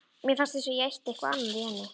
Mér fannst eins og ég ætti eitthvað í henni.